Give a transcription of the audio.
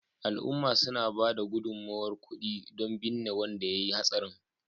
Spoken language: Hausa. al’umma suna ba da gudummawar kudi don binne wanda ya yi hatsarin